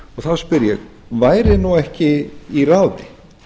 þá spyr ég væri nú ekki í ráði